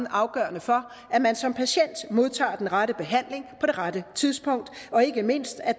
afgørende for at man som patient modtager den rette behandling på det rette tidspunkt og ikke mindst at